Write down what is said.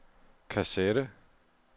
kassette